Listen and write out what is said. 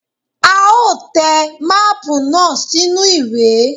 A ó te máàpù náà sínú ìwé.